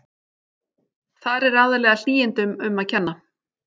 Þar er aðallega hlýindum um að kenna.